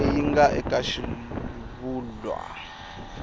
leyi yi nga eka xivulwa